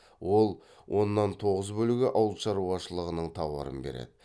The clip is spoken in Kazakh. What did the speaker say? ол оннан тоғыз бөлігі ауылшаруашылығының тауарын береді